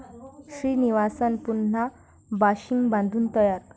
श्रीनिवासन पुन्हा बाशिंग बांधून तयार!